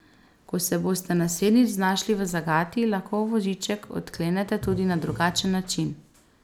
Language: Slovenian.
Ko se boste naslednjič znašli v zagati, lahko voziček odklenete tudi na drugačen način.